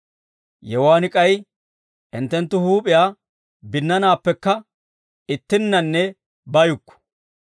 Yewuwaan k'ay hinttenttu huup'iyaa binnanaappekka ittinnanne bayukku.